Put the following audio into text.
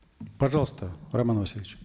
пожалуйста роман васильевич